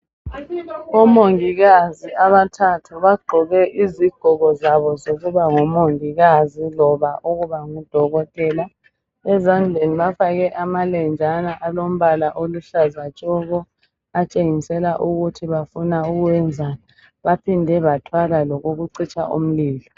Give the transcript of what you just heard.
Omongikazi abathathu bagqoke izigqoko zabo zokuba ngomongikazi loba ukuba ngudokotela. Ezandleni bafake amalenjana alombala oluhlaza tshoko, atshengisela ukuthi bafuna ukwenzani baphinde bathwala lokokucitsha umlilo.